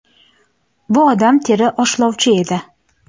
Bu odam teri oshlovchi edi.